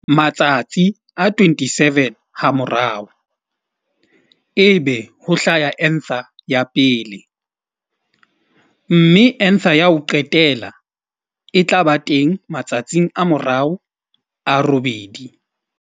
Matsatsi a 27 hamorao, ebe ho hlaha anther ya pele, mme anther ya ho qetela e tla ba teng matsatsing a morao a robedi.